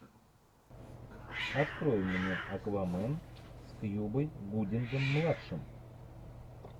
открой мне аквамен с кьюбой гудингом младшим